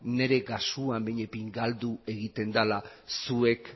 nire kasuan behinik behin galdu egiten dela zuek